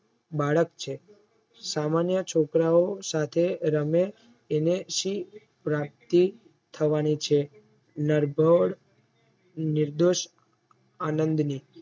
બાળક છે. સામાન્ય છોકરાઓ સાથે રમે એને શી પ્રાપ્તિ થવાની છે નરભર નિર્દોષ આનંદની